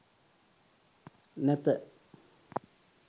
නැත